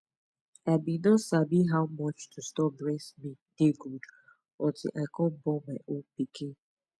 i been no sabi how much to store breast milk dey good until i come born my own pikin